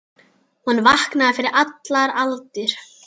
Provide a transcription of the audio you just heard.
Hún vaknaði fyrir allar aldir.